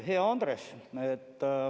Hea Andres!